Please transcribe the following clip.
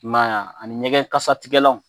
I m'a ye ani ɲɛgɛn kasatigɛlanw